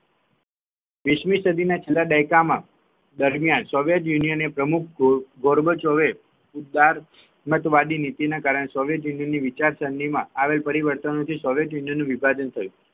વીસમી સદીના છેલ્લા દાયકામાં દરમિયાન સોંગટે યુનિયનપ્રમુખ ગોરબોચઓએ ઉદાર મતવાદ નીતિના કારણે સોંગટે યુનિયન વિચારચાસણી માં આવેલા પ્રયત્નને કારણે સોંગટે યુનિયન વિભાજન થયું